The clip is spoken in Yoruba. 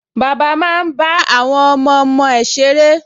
Bàbá máa ń bá àwọn ọmọọmọ ẹ̀ ṣeré